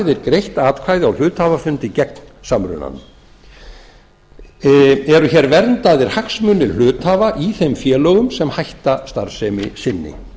þeir greitt atkvæði á hluthafafundi gegn samrunanum eru hér verndaðir hagsmunir hluthafa í þeim félögum sem hætta starfsemi sinni